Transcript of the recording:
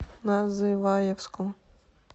называевску